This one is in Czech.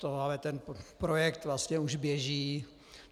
Ale ten projekt vlastně už běží.